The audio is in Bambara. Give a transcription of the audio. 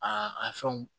Aa a fɛnw